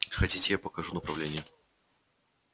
хотите я покажу направление